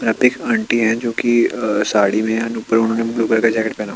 यहाँ पे एक आंटी है जोकि अ साडी में और उपर उन्होनें ब्लू कलर का जॅकेट पहना हुआ है।